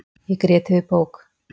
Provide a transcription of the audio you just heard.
Ég grét yfir bók.